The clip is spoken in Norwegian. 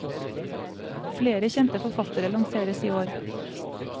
Flere kjente forfattere lanseres i år.